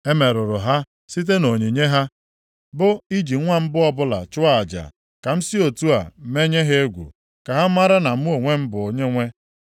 E merụrụ ha site nʼonyinye ha, bụ, iji nwa mbụ ọbụla chụọ aja, ka m si otu a menye ha egwu ka ha mara na mụ onwe m bụ Onyenwe.’